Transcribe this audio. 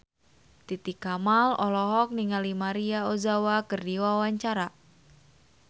Titi Kamal olohok ningali Maria Ozawa keur diwawancara